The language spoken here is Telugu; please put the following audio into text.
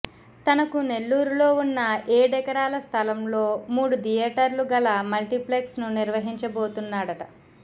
తనకు నెల్లూరులో ఉన్న ఏడెకరాల స్థలంలో మూడు థియేటర్లు గల మల్టిప్లెక్స్ ను నిర్వహించబోతున్నాడట